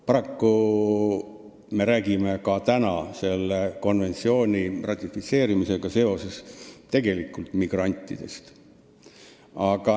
Paraku me räägime ka täna selle konventsiooni ratifitseerimisega seoses tegelikult migrantidest.